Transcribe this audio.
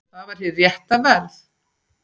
Það var hið rétta verð.